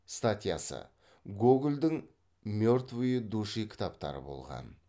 статьясы гогольдің мертвые души кітаптары болған